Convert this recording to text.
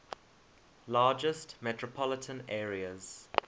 largest metropolitan areas